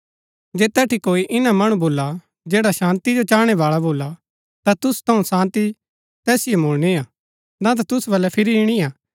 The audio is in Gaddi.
जे तैठी कोई ईना मणु भुला जैड़ा शान्ती जो चाहणै बाळा भोला ता तुसु थऊँ शान्ती तैसिओ मुळणिआ ना ता तुसु वलै फिरी ईणिआ